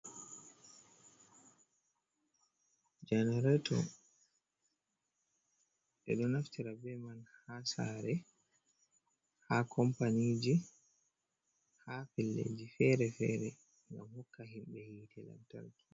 Janareto. Ɓe ɗo naftira be man haa saare, haa companiji, ha pellelji feere-feere ngam hokka himɓe hite lantarki.